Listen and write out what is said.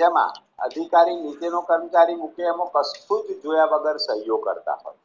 જેમાં અધિકારી નીચેનો કર્મચારી મૂકે એમાં કશું જ જોયા વગર સહ્યો કરતા હોય